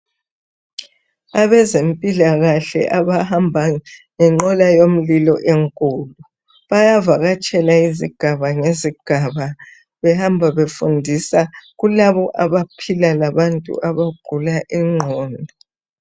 Abezempilakahle abahamba ngenqola yomlilo enkulu bayavakatshela izigaba lezigaba behamba befundisa kulabo abaphila labantu abagula ingqondo